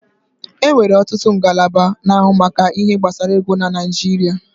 E nwere ọtụtụ ngalaba na-ahụ maka ihe gbasara ego n'Naijiria